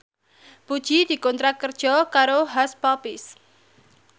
Puji dikontrak kerja karo Hush Puppies